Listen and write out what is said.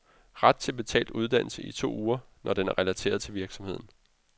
Ret til betalt uddannelse i to uger, når den er relateret til virksomheden.